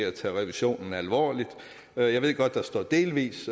at tage revisionen alvorligt jeg ved godt der står delvis